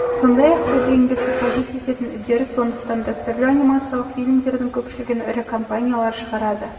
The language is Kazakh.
сондай-ақ көп еңбекті қажет ететін үдеріс сондықтан дәстүрлі анимациялық фильмдердің көпшілігін ірі компаниялар шығарады